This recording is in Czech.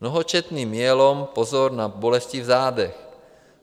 Mnohočetný myelom - pozor na bolesti v zádech.